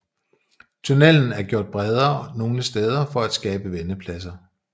Tunnelen er gjort bredere nogle steder for at skabe vendepladser